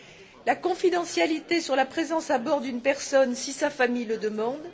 de la confidentialité sur la présence à bord d'une personne si sa famille le demande